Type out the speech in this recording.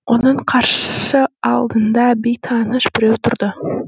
оның қарсы алдында бейтаныс біреу тұрды